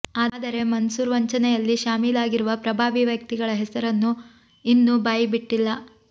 ಆದರೆ ಮನ್ಸೂರ್ ವಂಚನೆಯಲ್ಲಿ ಶಾಮೀಲಾಗಿರುವ ಪ್ರಭಾವಿ ವ್ಯಕ್ತಿಗಳ ಹೆಸರನ್ನು ಇನ್ನೂ ಬಾಯಿಬಿಟ್ಟಿಲ್ಲ